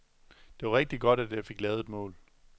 Det var rigtig godt, at jeg fik lavet et mål.